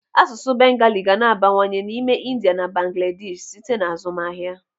Asụsụ bengali ga na-abawanye n'ime India na Bangladeshi site n'azụmahịa.